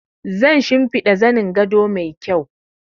Zan shinfida zanin gado mai kyau